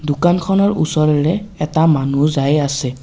দোকানখনৰ ওচৰেৰে এটা মানুহ যায় আছে।